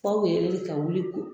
ka wuli ko